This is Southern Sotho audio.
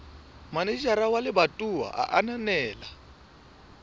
manejara wa lebatowa a ananela